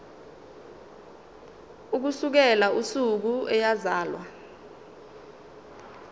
ukusukela usuku eyazalwa